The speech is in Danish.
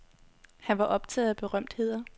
Han var optaget af berømtheder.